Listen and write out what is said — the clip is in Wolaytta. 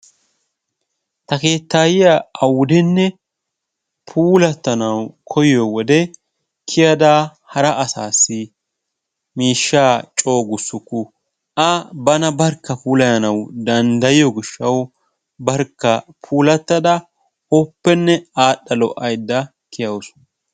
Ta keettayiyaa awudenne puulatanawu koyiyoo wode kiyada hara asaasi miishshaa coo guusuku. A bana barkka puulayanwu danddayiyoo giishshawu barkka puulattada oopenne adhdha lo"aydda kiyawus.